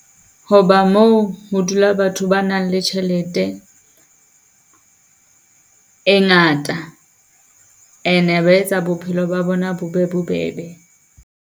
Ho ba moo ho dula batho ba nang le tjhelete e ngata, ene ba etsa bophelo ba bona bo be bobebe.